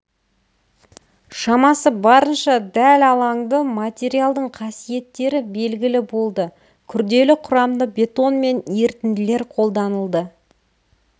шамасы барынша дәл алаңды материалдың қасиеттері белгілі болды күрделі құрамды бетон мен ерітінділер қолданылды